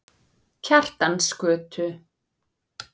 Kjartansgötu